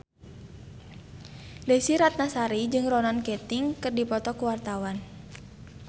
Desy Ratnasari jeung Ronan Keating keur dipoto ku wartawan